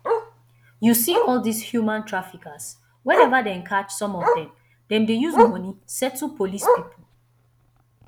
you see all dis human traffickers whenever dem catch some of dem dem dey use money settle police people